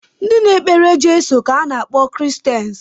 Ndị na-ekpere Jeso ka a na-akpọ Kiristeni